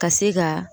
Ka se ka